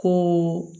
Ko